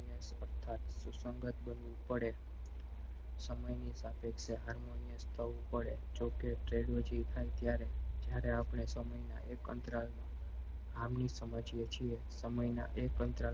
સ્પર્ધા માં સુસંગત બનવું પડે સમયની સાપેક્ષ harmonious થવું પડે જો કે થાય ત્યારે જયારે આપડે સમય એક અંતરાલમાં આમની સમજ એ છીએ સમય એક અંતરાલ